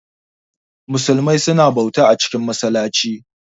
Musumai suna bauta a cikin masallaci